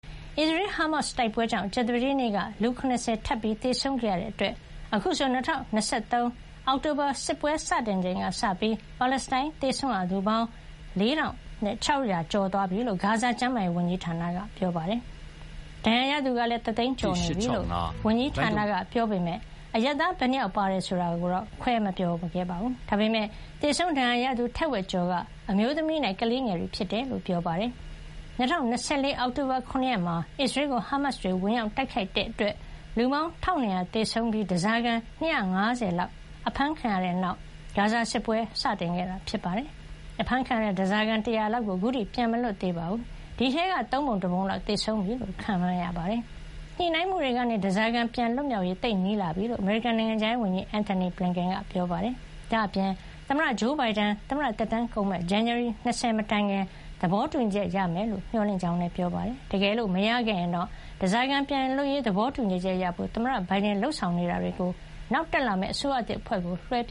အစ္စရေး- ဟားမတ်စ် တိုက်ပွဲကြောင့် ကြာသပတေးနေ့က လူ ၇၀ ထပ်ပြီး သေဆုံးခဲ့ရတဲ့အတွက် အခုဆို ၂၀၂၃ အောက်တိုဘာ စစ်ပွဲစတင်ချိန်ကစပြီး ပါလက်စတိုင်းသေဆုံးရသူဟာ ၄၆၀၀၀ ကျော်သွားပြီလို့ ဂါဇာကျန်းမာရေး ဝန်ကြီးဌာနက ပြောပါတယ်။ ဒဏ်ရာရသူကလည်း ၁ သိန်း ကျော်နေပြီလို့ ဝန်ကြီးဌာနက ပြောပေမယ့် အရပ်သား ဘယ်နှစ်ယောက် ပါတယ်ဆိုတာ ခွဲမပြောခဲ့ပါဘူး။ ဒါပေမယ့် သေဆုံး ဒဏ်ရာရသူ ထက်ဝက်ကျော်က အမျိုးသမီးနဲ့ ကလေးငယ်တွေ ဖြစ်တယ်လို့ ပြောပါတယ်။ ၂၀၂၄ အောက်တိုဘာ ၇ ရက်မှာ အစ္စရေးကို ဟားမတ်စ်တွေ ဝင်ရောက်တိုက်ခိုက်တဲ့ အတွက် လူပေါင်း ၁၂၀၀ သေဆုံးခဲ့ပြီး ဓါးစာခံ ၂၅၀ လောက်ကိုပါ ဖမ်းသွားတဲ့နောက် ဂါဇာစစ်ပွဲစတင်ခဲ့တာ ဖြစ်ပါတယ်။ အဖမ်းခံရတဲ့ ဓါးစားခံ ၁၀၀ လောက်ကို ခုထိ ပြန်မလွတ်သေးပါဘူး။ ဒီအထဲက သုံးပုံ တပုံလောက် သေဆုံးသွားပြီလို့ ခန့်မှန်းရပါတယ်။ ညှိနှိုင်းမှုတွေကနေ ဓါးစာခံပြန်လွတ်မြောက်ရေး သိပ်နီးလာနေပြီလို့ အမေရိကန် နိုင်ငံခြားရေးဝန်ကြီး Antony Blinken က ပြောပါတယ်။ ဒါ့အပြင် သမ္မတဂျိုးဘိုင်ဒန် သမ္မတသက်တမ်းကုန်မယ့် ဇန်နဝါရီ ၂၀ မတိုင်ခင် သဘောတူညီချက် ရမယ်လို့ မျှော်လင့်ကြောင်းလည်း ပြောပါတယ်။ တကယ်လို့ မရခဲ့ရင် ဓါးစာခံပြန်လွတ်ရေး သဘောတူညီချက်ရဖို့ သမ္မတဘိုင်ဒန်လုပ်ဆောင်နေတာတွေကို နောက်တက်လာမယ့် အစိုးရသစ်အဖွဲ့ကို လွှဲပ